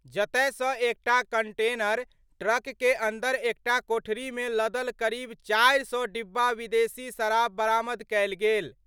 जतय सं एकटा कंटेनर ट्रक के अंदर एकटा कोठरी मे लदल करीब 400 डिब्बा विदेशी शराब बरामद कयल गेल।